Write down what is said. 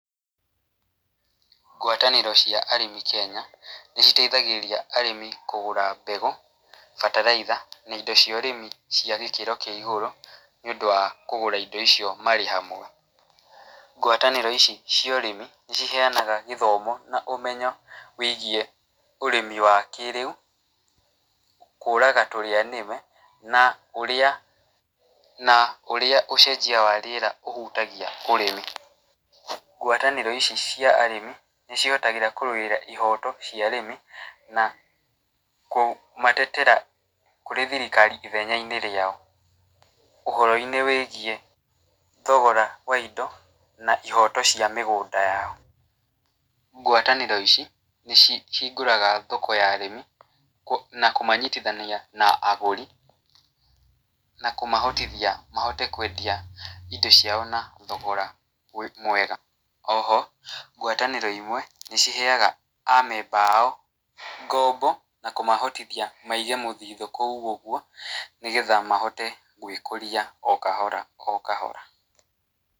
Ngwatanĩro cia arĩmi Kenya, nĩ citeithagĩrĩria arĩmi kũgũra mbegũ, bataraitha , na indo cia ũrĩmi cia gĩkĩro kĩa igũrũ, nĩ ũndũ wa kũgũra indo icio marĩ hamwe, ngwatanĩro ici cia ũrĩmi, nĩ ciheanaga gĩthomo na ũmenyo wĩgiĩ ũrĩmi wa kĩrĩu, kũraga tũrĩa nĩme, na ũrĩa, na ũrĩa ũcenjia wa rĩera ũhutagia ũrĩmi, ngwatanĩro ici cia arĩmi nĩ cihotagĩra kũrũĩra ihoto cia arĩmi, na kũmatetera kũrĩ thirikari ithenya-inĩ rĩao, ũhoro-inĩ wĩgiĩ thogora wa indo, na ihoto cia mĩgũnda yao, ngwatanĩro ici nĩ cihingũraga thoko ya arĩmi na kũmanyitithania na agũri, na kũmahotithia mahote kwendia indo ciao na thogora mwega, oho ngwatanĩro imwe, nĩ ciheaga a memba ao ngombo na kũmahotithia maige mũthithũ kũu ũgwo, nĩgetha mahote gwĩkũria o kahora o kahora.